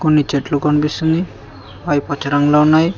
నీ చెట్లు కనిపిస్తుంది అవి పచ్చా రంగులో ఉన్నాయి.